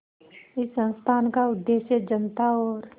इस संस्थान का उद्देश्य जनता और